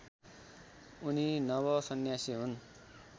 उनी नवसन्यासी हुन्।